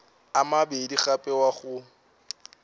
a mabedi gape wa go